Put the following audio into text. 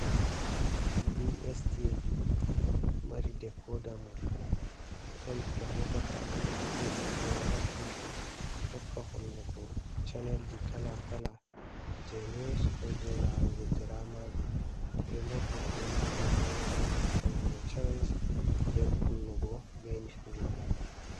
Dstv mari dekoda mum totton ɓe hautata ɗum ɓe ɓoggi mai ha tv tokka hollugo channelji kala kala, je news ko je larugo dramaji, remot bo ɓe ɗo naftira bei mai on ha chanjugo channels be kunnugo be nyifugo.